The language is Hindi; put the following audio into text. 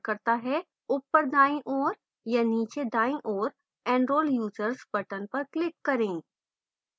ऊपर दाईं ओर या नीचे दाईं ओर enrol users button पर click करें